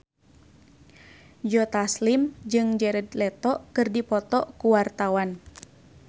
Joe Taslim jeung Jared Leto keur dipoto ku wartawan